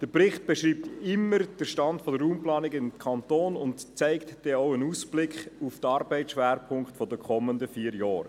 Der Bericht beschreibt immer den Stand der Raumplanung im Kanton und gibt einen Ausblick auf die Arbeitsschwerpunkte der kommenden vier Jahre.